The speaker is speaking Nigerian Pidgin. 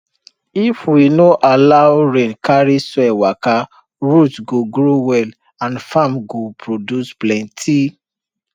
if we no allow rain carry soil waka root go grow well and farm go produce plenty